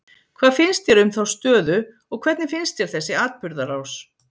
Hvað finnst þér um þá stöðu og hvernig finnst þér þessi atburðarás?